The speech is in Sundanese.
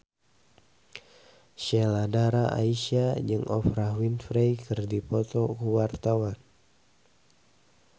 Sheila Dara Aisha jeung Oprah Winfrey keur dipoto ku wartawan